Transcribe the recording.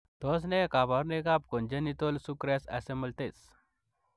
Tos ne kabarunoik ap konjinetol sukres isomltes